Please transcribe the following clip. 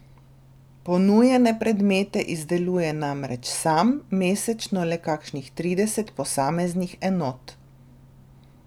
Ponujene predmete izdeluje namreč sam, mesečno le kakšnih trideset posameznih enot.